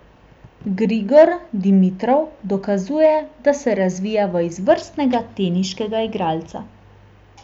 Grigor Dimitrov dokazuje, da se razvija v izvrstnega teniškega igralca.